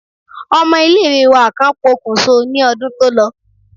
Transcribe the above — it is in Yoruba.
Ọmọ ilé ìwé wa kan pokùnso ní ọdún tó lọ.